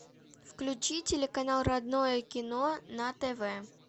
включи телеканал родное кино на тв